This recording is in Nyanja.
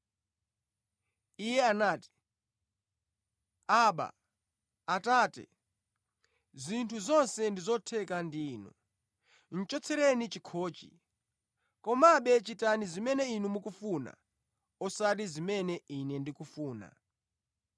Iye anati, “Abba, Atate, zinthu zonse ndi zotheka ndi Inu. Chotsereni chikhochi. Komabe chitani zimene Inu mukufuna, osati zimene Ine ndikufuna.”